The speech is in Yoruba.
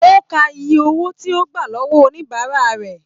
O ká ìyè owó tí o gbà lọwọ oníbárà rẹ.